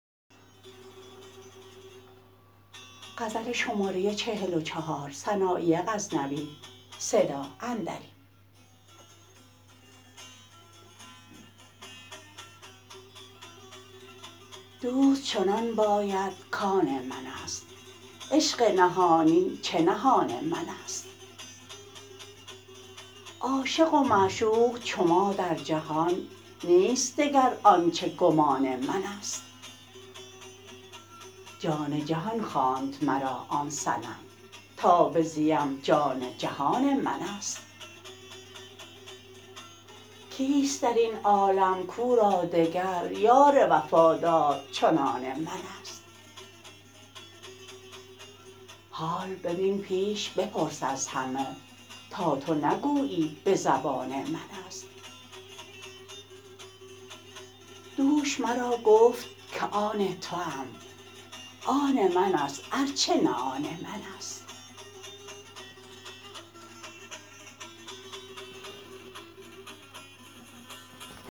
دوست چنان باید کان منست عشق نهانی چه نهان منست عاشق و معشوق چو ما در جهان نیست دگر آنچه گمان منست جان جهان خواند مرا آن صنم تا بزیم جان جهان منست کیست درین عالم کو را دگر یار وفادار چنان منست حال ببین پیش بپرس از همه تا تو نگویی به زبان منست دوش مرا گفت که آن توام آن منست ار چه نه آن منست